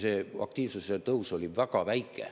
Ja aktiivsuse tõus oli väga väike.